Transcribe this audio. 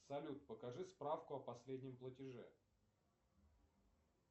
салют покажи справку о последнем платеже